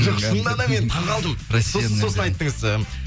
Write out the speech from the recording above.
жоқ шынында да мен таңқалдым сосын сосын айттыңыз